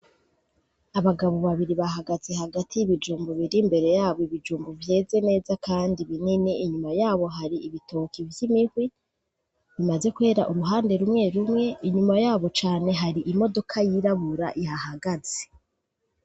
Abagabo babiri bahagaze hagati y'ibijumbu biri imbere yabo ibijumbu vyeze neza, kandi binini inyuma yabo hari ibitoke vy'imihwi bimaze kwera uruhande rumwe rumwe inyuma yabo cane hari imodoka yirabura iha hagaze.